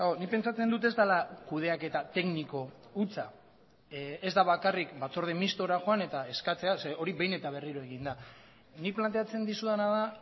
nik pentsatzen dut ez dela kudeaketa tekniko hutsa ez da bakarrik batzorde mistora joan eta eskatzea zeren hori behin eta berriro egin da nik planteatzen dizudana da